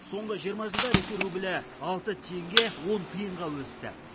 соңғы жиырма жылда ресей рублі алты теңге он тиынға өсті